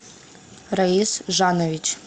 раис жанович